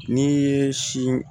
N'i ye si